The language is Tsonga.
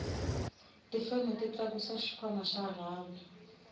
tifeme ti tlakusa xikhwanma xa rhavi